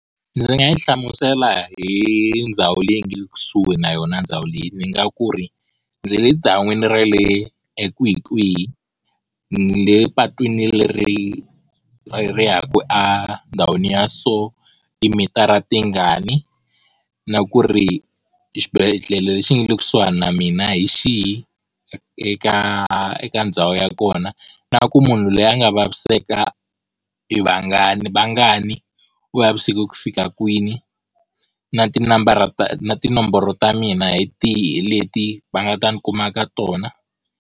Ndzi nga yi hlamusela hi ndhawu leyi nga le kusuhi na yona ndhawu leyi, ndzi nga ku ri ndzi le dan'wini ra le ekwihi kwihi ni le patwini leri ri ya ku a ndhawini ya so, timitara tingani, na ku ri xibedhlele lexi nga le kusuhana na mina hi xihi eka eka ndhawu ya kona. Na ku munhu loyi a nga vaviseka i vangani vangani ku vavisekiwile ku fika kwini, na tinambara ta tinomboro ta mina hi tihi leti va nga ta ni kuma ka tona.